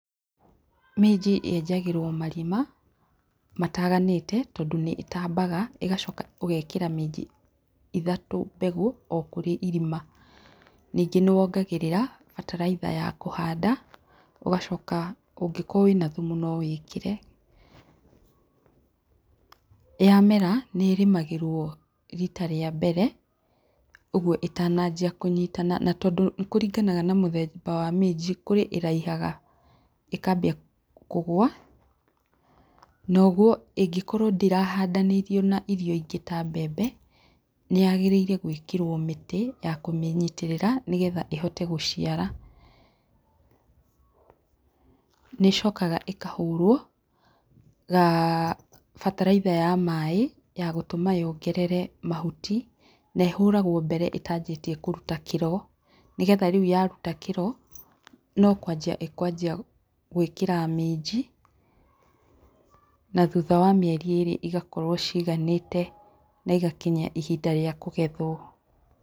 Minji yenjagĩrwo marima mataganĩte tondũ nĩ ĩtambaga ĩgacoka ũgekĩra minji ithatũ mbegũ o kũrĩ irima. Ningĩ nĩ wongagĩrĩra bataraitha ya kũhanda, ũgacoka ũngĩkorwo wĩna thumu no wĩkĩre, yamera nĩrĩmagĩrwo rita rĩa mbere ũguo ĩtananjia kũnyitana. Na tondũ nĩ kũringanaga na mũthemba wa minji kũrĩ ĩraihaga ĩkambia kũgua, na ũguo ĩngĩkorwo ndĩrahandanĩirio na irio ingĩ ta mbembe nĩ yagĩrĩirwo gwĩkĩrwo mĩtĩ ya kũmĩnyitĩrĩra nĩgetha ĩhote gũciara. Nĩ ĩcokaga ĩkahũrwo bataraitha ya maĩ yagũtũma yongerere mahuti na ĩhũragwo mbere ĩtanjĩtie kũruta kĩro nĩgetha rĩu ya ruta kĩro no kwanjia ĩ kwanjia gwĩkĩra minji na thutha wa mĩeri igakorwo ciganĩte na igakinyia ihinda rĩa kũgethwo.